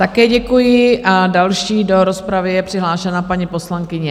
Také děkuji a další do rozpravy je přihlášená paní poslankyně...